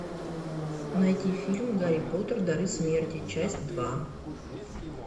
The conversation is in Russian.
найти фильм гарри поттер дары смерти часть два